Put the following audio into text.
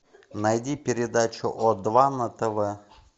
найди передачу о два на тв